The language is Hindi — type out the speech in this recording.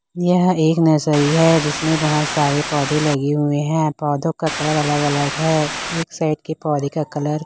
यह एक नर्सरी है जिसमें बहुत सारे पौधे लगे हुए हैं पौधों का कलर अलग अलग है एक साइड के पौधे का कलर --